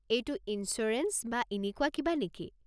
এইটো ইনছুৰেঞ্চ বা এনেকুৱা কিবা নেকি?